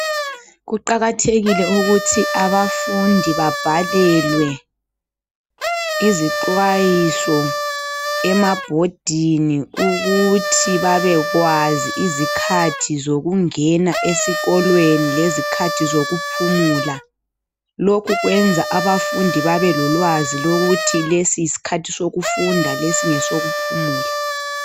Kuqakathekile ukuthi abafundi babhalelwe izixwayiso emabhodini ukuthi babekwazi izikhathi zokungena esikolweni lezikhathi zokuphumula lokhu kwenza abafundi babe lolwazi lokuthi lesi yisikhathi sokufunda lesi ngesokuphumula